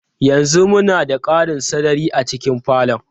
Yanzu muna da ƙarin sarari a cikin falon.